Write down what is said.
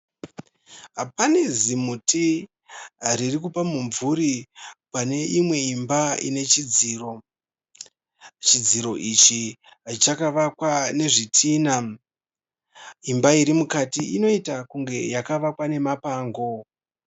Pane zimuti riri kupa mumvuri pane imwe imba ine chidziro. Chidziro ichi chakavakwa nezvitina. Imba iri mukati inoita kunge yakavakwa nemapango.